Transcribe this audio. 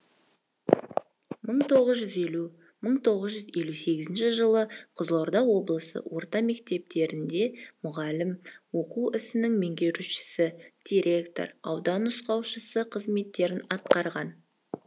мың тоғыз жүз елу мың тоғыз жүз елу сегізінші жылы қызылорда облысы орта мектептерінде мұғалім оқу ісінің меңгерушісі директоры аудан нұсқаушысы қызметтерін атқарған